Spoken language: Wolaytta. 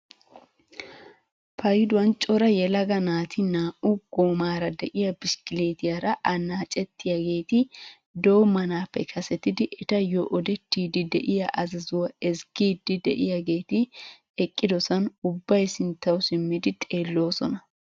Payduwaan cora yelaga naati naa"u goomara de'iyaa bishikilitiyaara annacettiyaageti doommanappe kasetidi etayoo odettiidi de'iyaa azazuwaa ezggiidi de'iyaageti eqqidosan ubbay sinttawu simmidi xeelloosona!